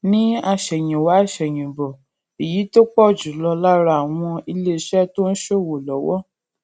ní àsèyìnwá àsèyìnbò èyí tó pò jù lọ lára àwọn ilé iṣé tó ń ṣòwò lówó